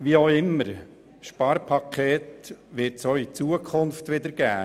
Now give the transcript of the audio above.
Wie auch immer: Sparpakete wird es auch in Zukunft geben.